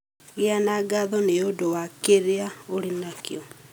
Gĩa na ngatho nĩ ũndũ wa kĩrĩa ũrĩ nakĩo.